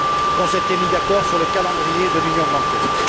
Qu'on s'est mis d'accord sur le calendrier de l'union bancaire.